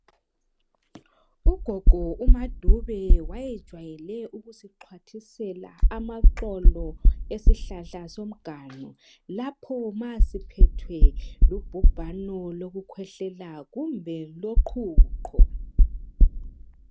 Ugogo umadube wayejwayele ukusixhwathisela amaxolo esihlahla somganu lapho ma siphethwe lubhubhano loku khwehlela kumbe loqhuqho